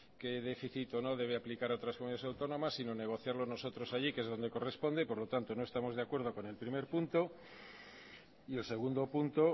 qué déficit o no debe aplicar a otras comunidades autónomas sino negociarlo nosotros allí que es donde corresponde por lo tanto no estamos de acuerdo con el primer punto y el segundo punto